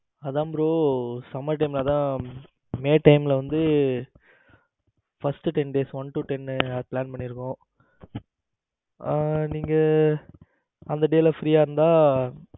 அதான் bro summer time ல may time ல வந்து first ten days one to ten plan பண்ணியிருக்கோம். ஆ நீங்க அந்த day ல free யா இருந்தா